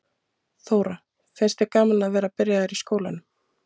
Þóra: Finnst þér gaman að vera byrjaður í skólanum?